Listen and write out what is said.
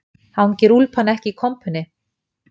Hangir úlpan ekki í kompunni